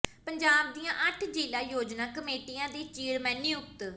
ਪੰਜਾਬ ਦੀਆਂ ਅੱਠ ਜ਼ਿਲ੍ਹਾ ਯੋਜਨਾ ਕਮੇਟੀਆਂ ਦੇ ਚੇਅਰਮੈਨ ਨਿਯੁਕਤ